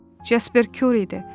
Jasper Curie idi.